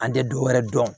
An tɛ dɔwɛrɛ dɔn